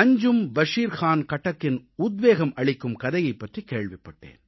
அஞ்ஜும் பஷீர் கான் கட்டக்கின் உத்வேகம் அளிக்கும் கதையைப் பற்றிக் கேள்விப்பட்டேன்